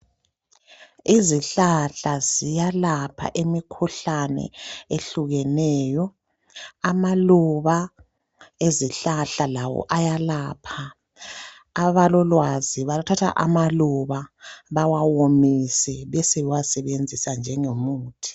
Izihlahla ziyalapha imikhuhlane ehlukeneyo amaluba ezihlahla lawo ayalapha abalolwazi bathatha amaluba bawawomise besebe wasebenzisa njengomuthi.